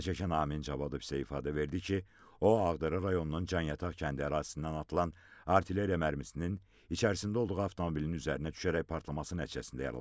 Zərərçəkən Amin Cavadov isə ifadə verdi ki, o, Ağdərə rayonunun Canyataq kəndi ərazisindən atılan artilleriya mərmisinin içərisində olduğu avtomobilin üzərinə düşərək partlaması nəticəsində yaralanıb.